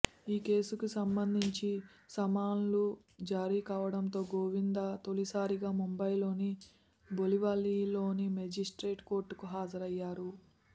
ఈ కేసుకు సంబంధించి సమన్లు జారీ కావడంతో గోవిందా తొలిసారిగా ముంబైలోని బోరివలిలోని మేజిస్ట్రేట్ కోర్టుకు హాజరయ్యారు